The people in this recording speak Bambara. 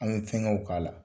An bɛ fɛnkɛw k'a la